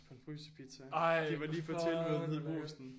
På en frysepizza de var lige på tilbud nede i Brugsen